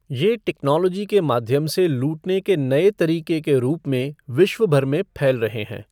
ये टेक्नोलॉजी के माध्यम से लूटने के नये तरीके के रूप में विश्व भर में फैल रहे हैं।